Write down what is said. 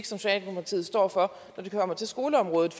socialdemokratiet står for når det kommer til skoleområdet